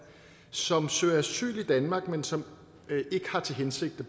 som søger asyl i danmark men som ikke har til hensigt at